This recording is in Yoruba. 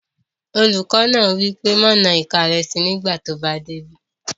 Olùkọ́ náà wí pé "má na ìka rẹ síi nígbàtí ó bá dé ibí!"